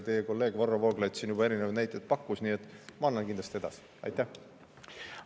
Teie kolleeg Varro Vooglaid siin juba pakkus erinevaid näiteid, nii et ma annan kindlasti edasi.